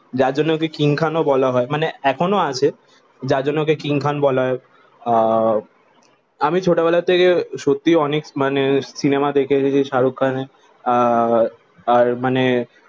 যার জন্য ওকে কিং খান ও বলা হয়ে মানে এখনো আছে যার জন্য ওকে কিং খান বলা হয়ে আহ আমি ছোট বেলা থেকে সত্য মানে অনেক সিনেমা দেখে এসেছি শাহরুখ খানের আহ আর মানে